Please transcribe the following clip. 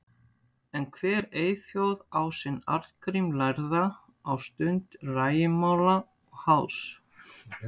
En hver eyþjóð á sinn Arngrím lærða á stund rægimála og háðs.